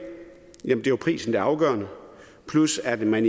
er jo prisen der er afgørende plus at man